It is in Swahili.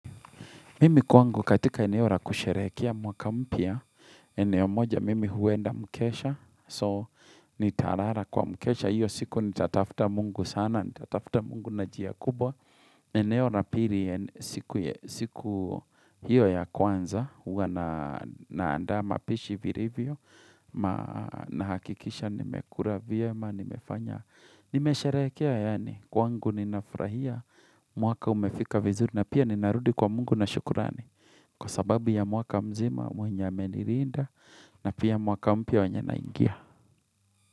Mimi kwangu katika eneo ra kusherehekea mwaka mpya, eneo moja mimi huenda mkesha, so nitarara kwa mkesha, hiyo siku nitatafta mungu sana, nita tafta mungu na jia kubwa, eneora piri siku hiyo ya kwanza, huwa na andaa mapishi virivyo, na hakikisha nimekura vyema, nimefanya. Nimesharehekea yani kwangu ninafurahia mwaka umefika vizuri na pia ninarudi kwa mungu na shukurani Kwa sababu ya mwaka mzima, mwenye amenirinda na pia mwaka mpia wenye na ingia.